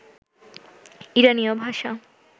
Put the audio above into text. ইরানীয় ভাষা